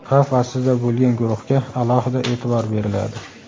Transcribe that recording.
xavf ostida bo‘lgan guruhga alohida e’tibor beriladi.